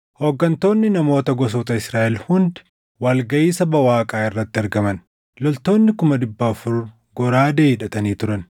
Hooggantoonni namoota gosoota Israaʼel hundi wal gaʼii saba Waaqaa irratti argaman; loltoonni kuma dhibba afur goraadee hidhatanii turan.